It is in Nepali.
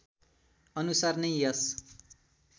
अनुसार नै यस